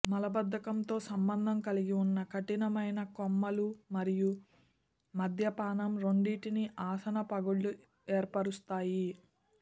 మలబద్ధకంతో సంబంధం కలిగి ఉన్న కఠినమైన కొమ్మలు మరియు మద్యపానం రెండింటిని ఆసన పగుళ్ళు ఏర్పరుస్తాయి